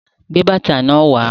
Gbé bàtà náà wà